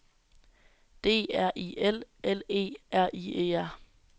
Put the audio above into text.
D R I L L E R I E R